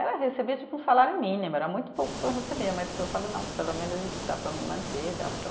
Eu recebia tipo um salário mínimo, era muito pouco o que eu recebia, mas eu falo, não, pelo menos isso dá para me manter, dá para eu